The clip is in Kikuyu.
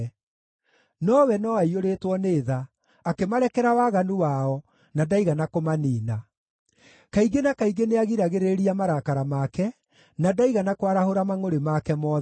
Nowe no aaiyũrĩtwo nĩ tha; akĩmarekera waganu wao, na ndaigana kũmaniina. Kaingĩ na kaingĩ nĩagiragĩrĩria marakara make, na ndaigana kwarahũra mangʼũrĩ make mothe.